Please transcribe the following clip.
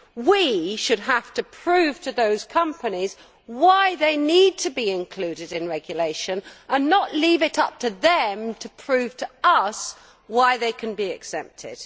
We should have to prove to those companies why they need to be included in regulation and not leave it up to them to prove to us why they can be exempted.